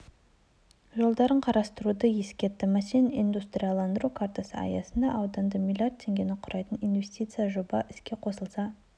жолдарын қарастыруды ескертті мәселен индустрияландыру картасы аясында ауданда млрд теңгені құрайтын инвестициялық жоба іске қосылса